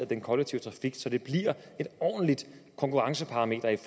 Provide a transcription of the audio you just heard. den kollektive trafik så det bliver et konkurrencedygtigt